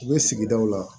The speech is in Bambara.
U bɛ sigidaw la